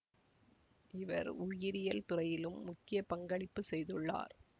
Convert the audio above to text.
இவர் உயிரியல் துறையிலும் முக்கிய பங்களிப்பு செய்துள்ளார்